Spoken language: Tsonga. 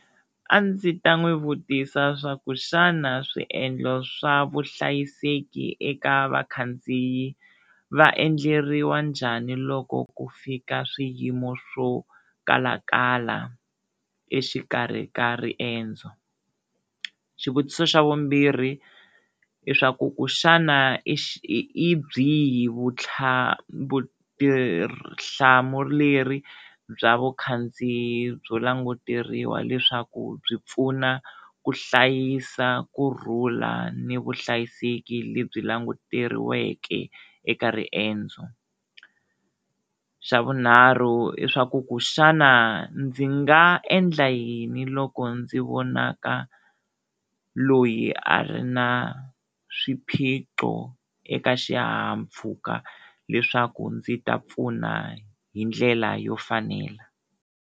A ndzi ta n'wi vutisa swaku xana swiendlo swa vuhlayiseki eka vakhandziyi va endleriwa njhani loko ku fika swiyimo swo kalakala exikarhi ka riendzo. Xivutiso xa vumbirhi i swa ku ku xana i byihi vutlhari, vutihlamuleri bya vukhandziyi byo languteriwa leswaku byi pfuna ku hlayisa kurhula ni vuhlayiseki lebyi languteriweke eka riendzo, xa vunharhu i swa ku ku xana ndzi nga endla yi yini loko ndzi vonaka loyi a ri na swiphiqo eka xihahampfhuka leswaku ndzi ta pfuna hi ndlela yo fanela.